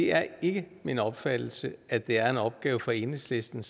er ikke min opfattelse at det er en opgave for enhedslisten